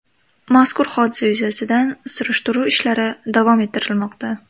Mazkur hodisa yuzasidan surishtiruv ishlari davom ettirilmoqda.